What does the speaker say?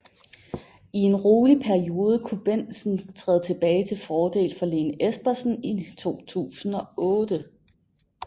I en rolig periode kunne Bendtsen træde tilbage til fordel for Lene Espersen i 2008